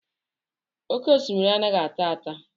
Oké osimiri anaghị ata ata